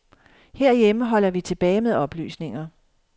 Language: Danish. Herhjemme holder vi tilbage med oplysninger.